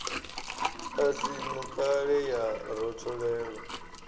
i si ṋukale ya rotholelwa